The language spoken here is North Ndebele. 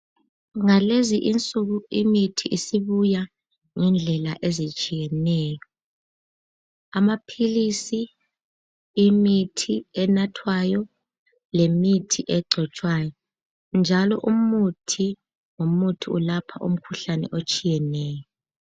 Ngalezi insuku imithi isibuya ngendlela ezitshiyeneyo, amaphilisi, imithi enathwayo lemithi egcotshwayo njalo umuthi lomuthi ulapha umkhuhlane etshiyeneyo.